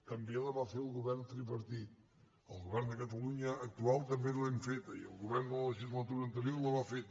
també la va fer el govern tripartit el govern de catalunya actual també l’hem feta i el govern de la legislatura anterior la va fer